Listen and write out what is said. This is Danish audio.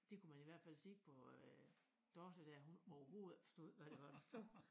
Det kunne man i hvert fald se på øh Dorthe dér hun overhovedet ikke forstod hvad det var du sagde